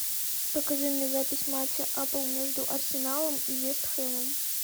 покажи мне запись матча апл между арсеналом и вест хэмом